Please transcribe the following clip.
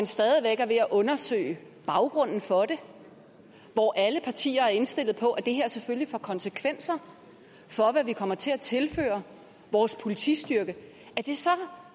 stadig væk er ved at undersøge baggrunden for det og hvor alle partier er indstillet på at det her selvfølgelig får konsekvenser for hvad vi kommer til at tilføre vores politistyrke